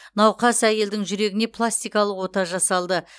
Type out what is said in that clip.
науқас әйелдің жүрегіне пластикалық ота жасалды